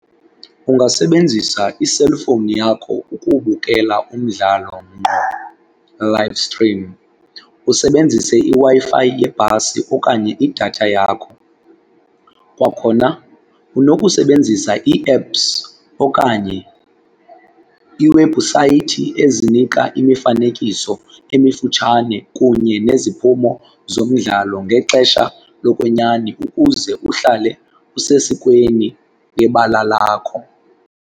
Ungasebenzisa iselifowuni yakho ukubukela umdlalo ngqo live stream usebenzise iWi-Fi yebhasi okanye idatha yakho. Kwakhona unokusebenzisa ii-apps okanye iiwebhusayithi ezinika imifanekiso emifutshane kunye neziphumo zomdlalo ngexesha lokwenyani ukuze uhlale usesikweni ngebala lakho.